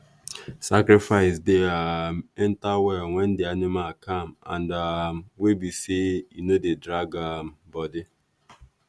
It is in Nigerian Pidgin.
sacrifice dey um enter well when the animal calm and um wey be sey e no dey drag um body.